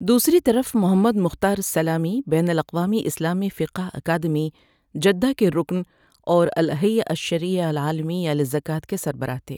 دوسری طرف Muhammad Mukhtar السلامی بین الاقوامی اسلامی فقہ اکادمی، جدہ کے رکن اور الهيئة الشرعية العالمية للزكاة کے سربراہ تھے۔